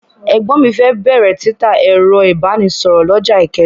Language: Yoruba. Ẹ̀gbọ́n mi fẹ́ bẹ̀rẹ̀ títa ẹ̀rọ ìbánisọ̀rọ̀ lọ́jà Ìkẹjà.